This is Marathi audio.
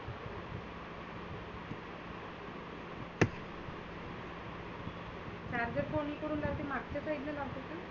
charger कोणिकडुन लावले मागच्या side ले का?